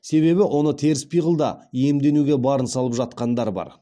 себебі оны теріс пиғылда иемденуге барын салып жатқандар бар